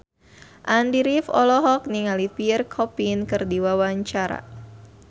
Andy rif olohok ningali Pierre Coffin keur diwawancara